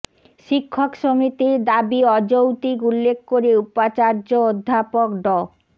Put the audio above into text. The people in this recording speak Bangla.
শিক্ষক সমিতির দাবি অযৌক্তিক উল্লেখ করে উপাচার্য অধ্যাপক ড